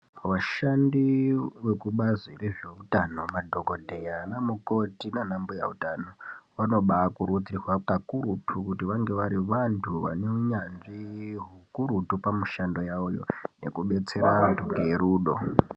Vashandi vekubazi rezveutano, madhokodheya, anamukoti naanambuya utano, vanobaakurudzirwa kakurutu ,kuti vange vari vantu vanounyanzvi hukurutu pamishando yavoyo nekubetsera vantu ngerudo.